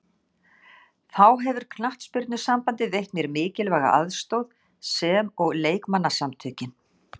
Þá hefur knattspyrnusambandið veitt mér mikilvæga aðstoð sem og leikmannasamtökin.